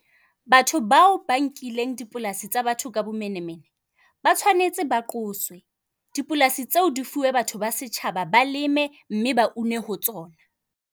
Batho bao ba nkileng dipolasi tsa batho ka bomenemene ba tshwanetse ba qoswe. Dipolasi tseo di fuwe batho ba setjhaba ba leme, mme ba une ho tsona.